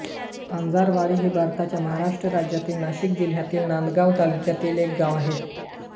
वंजारवाडी हे भारताच्या महाराष्ट्र राज्यातील नाशिक जिल्ह्यातील नांदगाव तालुक्यातील एक गाव आहे